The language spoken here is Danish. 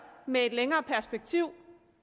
med et længere perspektiv